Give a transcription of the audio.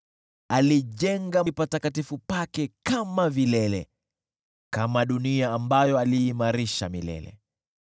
Alijenga patakatifu pake kama vilele, kama dunia ambayo aliimarisha milele.